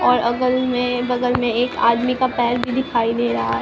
और अगल में बगल में एक आदमी का पैर भी दिखाई दे रहा है।